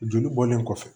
Joli bɔlen kɔfɛ